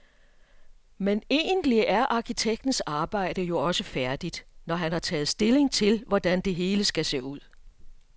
Men egentlig er arkitektens arbejde jo også færdigt, når han har taget stilling til, hvordan det hele skal se ud.